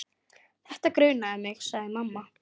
Þetta grunaði mig, sagði mamma.